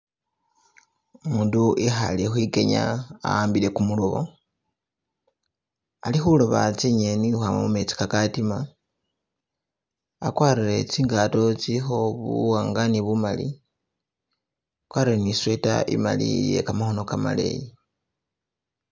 Umundu ikhale khwikenya a'mbile kumulobo, alikhuloba tsi'ngeni ukhwama mu metsi kakatima, akwarire tsi ngato tsitsilikho buwanga ne bumali akwarire ne sweater imali iye kamakhono kamaleyi.